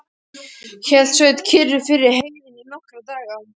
Hélt Sveinn kyrru fyrir í heiðinni í nokkra daga.